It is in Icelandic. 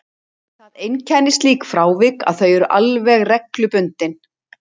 Það einkennir slík frávik að þau eru alveg reglubundin.